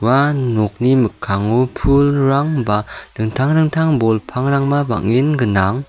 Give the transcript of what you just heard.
ua nokni mikkango pulrang ba dingtang dingtang bol pangrangba bang·en gnang.